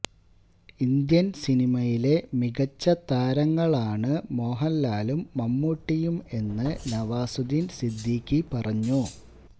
Indian സിനിമയിലെ മികച്ച താരങ്ങളാണ് മോഹന്ലാലും മമ്മൂട്ടിയും എന്ന് നവാസുദ്ദീന് സിദ്ദിഖി പറഞ്ഞു